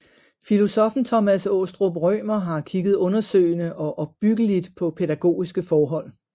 Filosoffen Thomas Aastrup Rømer har kigget undersøgende og opbyggeligt på pædagogiske forhold